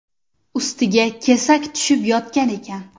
Ustiga kesak tushib yotgan ekan.